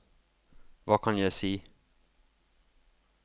hva kan jeg si